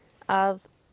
að